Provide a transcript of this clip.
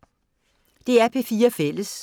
DR P4 Fælles